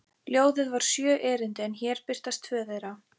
Ljóðið var sjö erindi en hér birtast tvö þeirra: